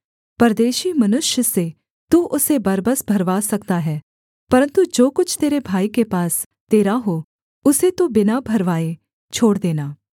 परदेशी मनुष्य से तू उसे बरबस भरवा सकता है परन्तु जो कुछ तेरे भाई के पास तेरा हो उसे तू बिना भरवाए छोड़ देना